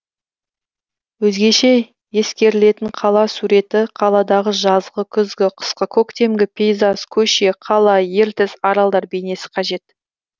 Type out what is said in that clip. өзгеше ескерілетін қала суреті қаладағы жазғы күзгі қысқы көктемгі пейзаж көше қала ертіс аралдар бейнесі қажет